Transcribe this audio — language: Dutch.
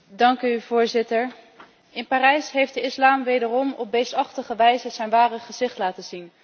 In Parijs heeft de islam wederom op beestachtige wijze zijn ware gezicht laten zien, het gezicht van het kwaad.